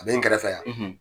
A bɛ n kɛrɛfɛ yan.